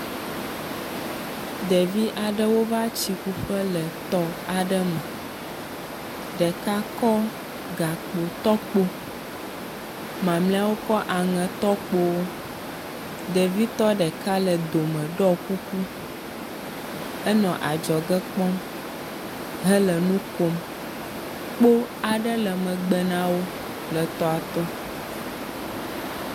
Ɖevi aɖewo va tsi ƒu ƒe le tɔ aɖe me. Ɖeka kɔ gakpotɔkpo, mamlɛawo kɔ aŋetɔkpowo. Ɖevitɔ ɖeka le dome ɖɔ kuku. Enɔ adzɔge kpɔm hele nu kom. Kpo aɖe le megbe na wo le toa to.